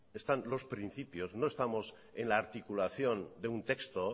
están los principios no estamos en la articulación de un texto